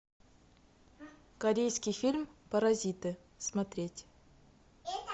корейский фильм паразиты смотреть